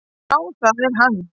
"""Já, það er hann."""